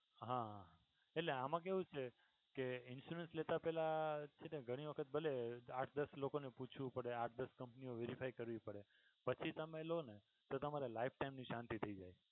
હા એટલે આમાં કેવું છે કે insurance લેતા પેહલા છે ને ઘણી વખત ભલે આઠ દસ લોકો ને પૂછવું પડે આઠ દસ company ઓ verify કરવી પડે પછી તમે લ્યો ને તો તમારે lifetime શાંતિ થઈ જાય.